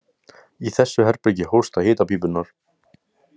Í þessu herbergi hósta hitapípurnar.